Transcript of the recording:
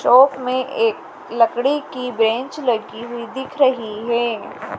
चौक में एक लकड़ी की बेंच लगी हुई दिख रही है।